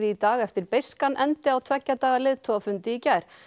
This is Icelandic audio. í dag eftir beiskan endi á tveggja daga leiðtogafundi í gær